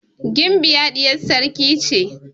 Gimbiya ɗiyar sarki ce.